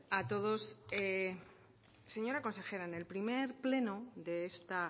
a todos señora consejera en el primer pleno de esta